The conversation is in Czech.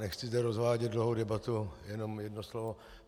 Nechci zde rozvádět dlouhou debatu, jenom jedno slovo.